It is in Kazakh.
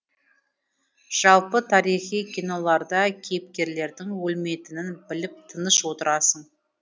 жалпы тарихи киноларда кейіпкерлердің өлмейтінін біліп тыныш отырасың